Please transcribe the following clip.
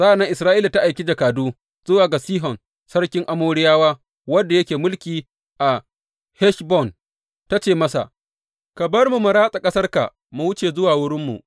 Sa’an nan Isra’ila ta aiki jakadu zuwa ga Sihon sarkin Amoriyawa, wanda yake mulki a Heshbon, ta ce masa, Ka bar mu mu ratsa ƙasarka mu wuce zuwa wurinmu.’